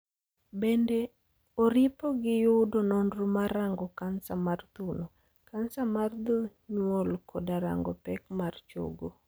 bende oripo ni giyudo nonro mar rango cancer mar thuno, cancer mar dho nyuol koda rango pek mar chogo